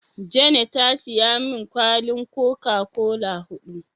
Jane ta siya min kwalin "coca-cola " hudu.